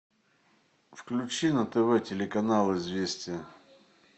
включи на тв телеканал известия